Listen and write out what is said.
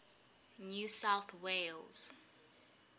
new south wales